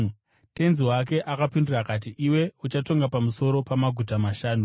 “Tenzi wake akapindura akati, ‘Iwe uchatonga pamusoro pamaguta mashanu.’